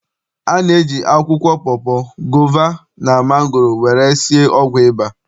A na-eji akwụkwọ pọpọ, gova, na mangoro were esi ọgwụ ịba.